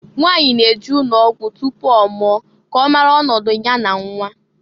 Nwanyị na-eje ụnọgwụ tupu ọmụọ ka ọmara ọnọdụ nya na nnwa.